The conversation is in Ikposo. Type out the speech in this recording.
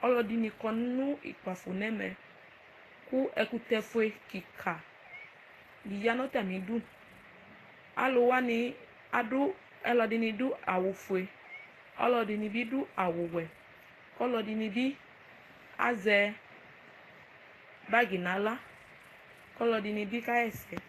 Ɔlɔdini kɔnʋ ukpafo nʋ ɛmɛ kʋ ɛkʋtɛfue kika diya nʋ atami idʋ alʋ wani ɛdini adʋ awʋfue ɔlɔdini bi adʋ awʋwɛ kʋ ɔlɔdini bi azɛ bagi nʋ aɣla kʋ ɔlɔdini bi kaxa ɛsɛ